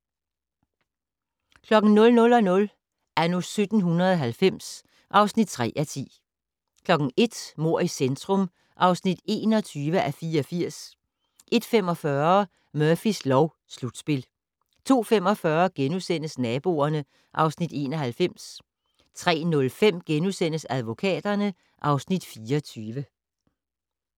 00:00: Anno 1790 (3:10) 01:00: Mord i centrum (21:84) 01:45: Murphys lov: Slutspil 02:45: Naboerne (Afs. 91)* 03:05: Advokaterne (Afs. 24)*